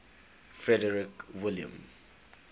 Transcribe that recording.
frederick william